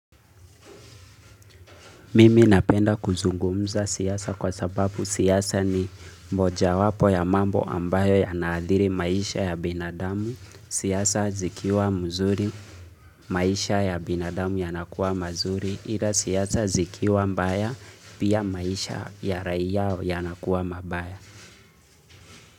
Mimi napenda kuzungumza siasa kwa sababu siasa ni mojawapo ya mambo ambayo yanaadhiri maisha ya binadamu, siasa zikiwa mzuri maisha ya binadamu ya nakuwa mazuri, ila siasa zikiwa mbaya pia maisha ya raia yanakuwa mabaya.